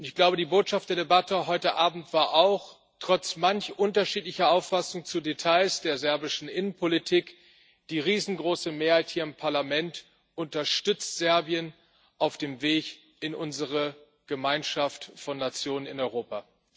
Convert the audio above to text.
Und ich glaube, die Botschaft der Debatte heute Abend war trotz manch unterschiedlicher Auffassung zu Details der serbischen Innenpolitik Die riesengroße Mehrheit hier im Parlament unterstützt Serbien auf dem Weg in unsere Gemeinschaft von Nationen in Europa.